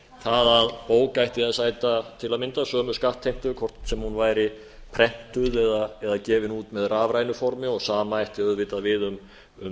það að bók ætti að sæta til að mynda sömu skattheimtu hvort sem hún væri prentuð eða gefin út með rafrænu formi sama ætti auðvitað um